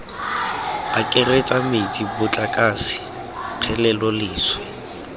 akaretsa metsi motlakase kgelelo leswe